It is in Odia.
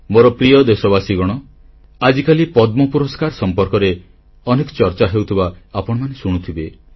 ମୋର ପ୍ରିୟ ଦେଶବାସୀଗଣ ଆଜିକାଲି ପଦ୍ମପୁରସ୍କାର ସମ୍ପର୍କରେ ଅନେକ ଚର୍ଚ୍ଚା ହେଉଥିବା ଆପଣମାନେ ଶୁଣୁଥିବେ